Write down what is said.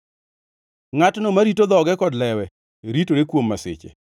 Ngʼatno marito dhoge kod lewe ritore kuom masiche.